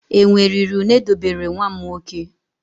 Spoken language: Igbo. Enwe riri une dobere nwa m nwoke.